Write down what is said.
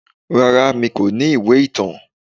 Rárá mi kò ní ìwé ìtàn.